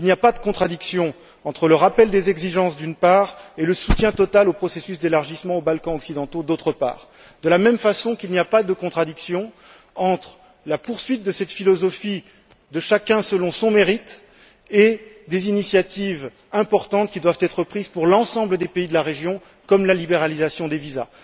Il n'y a pas de contradiction entre le rappel des exigences, d'une part, et le soutien total au processus d'élargissement aux Balkans occidentaux, d'autre part, de la même façon qu'il n'y a pas de contradiction entre la poursuite de cette philosophie de chacun selon son mérite et des initiatives importantes qui doivent être prises pour l'ensemble des pays de la région, comme la libéralisation des visas.